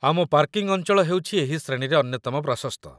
ଆମ ପାର୍କିଂ ଅଞ୍ଚଳ ହେଉଛି ଏହି ଶ୍ରେଣୀରେ ଅନ୍ୟତମ ପ୍ରଶସ୍ତ